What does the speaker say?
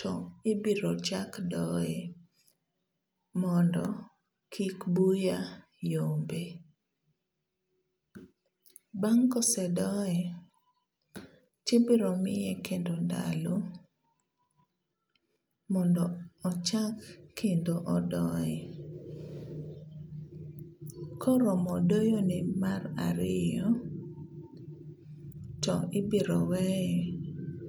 to ibiro chak doyo mondo kik buya yombe. Bang' ka osedoye to ibiro miye kendo ndalo mondo chak kendo doye. Ka oromo doyo ne mar ariyoto ibiro weye.